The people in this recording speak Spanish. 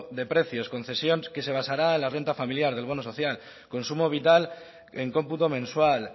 de precios concesión que se basará en la renta familiar del bono social consumo vital en cómputo mensual